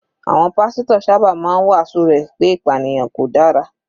Àwọn pásítọ̀ sábà máa ń wàásù rẹ̀ pé ìpànìyàn ò dára.